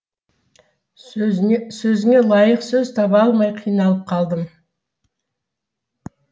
сөзіне сөзіңе лайық сөз таба алмай қиналып қалдым